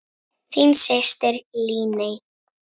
Þín systir, Líney.